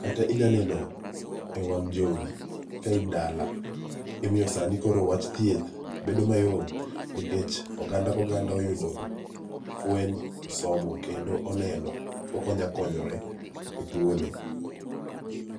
kata inyalo neno ewang' jowi ka in dala omiyo sani koro wach thieth bedo mayom nikech oganda ka oganda oyudo fueny osomo kendo oneno kaka onyalo konyore e tuone.